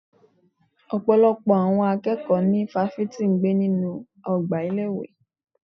Ọ̀pọ̀lọpọ̀ àwọn akẹ́kọ̀ọ́ ní fáfitì gbé nínú ọgbà ilé ìwé.